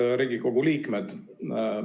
Head Riigikogu liikmed!